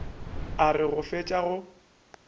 a re go fetša go